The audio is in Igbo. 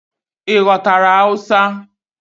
Ị ghọtara Hausa?